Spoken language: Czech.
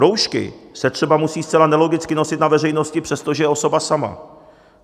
Roušky se třeba musí zcela nelogicky nosit na veřejnosti, přestože je osoba sama.